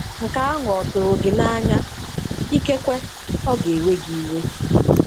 Nke ahụ ọ tụrụ gị n'anya – ikekwe ọ ga-ewe gị iwe?